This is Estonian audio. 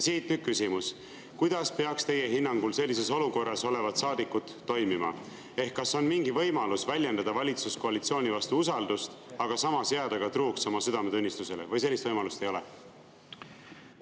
Siit nüüd küsimus: kuidas peaks teie hinnangul sellises olukorras olevad saadikud toimima, kas on mingi võimalus väljendada valitsuskoalitsiooni vastu usaldust, aga samas jääda truuks oma südametunnistusele, või sellist võimalust ei ole?